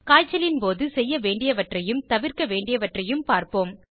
காய்ச்சலின் போது செய்ய வேண்டியவற்றையும் தவிர்க்க வேண்டியவற்றையும் பார்ப்போம்